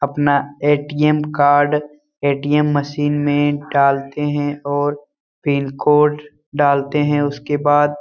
अपना ATM. Card ATM. Machine में डालते हैं और पिन कोड डालते हैं उसके बाद --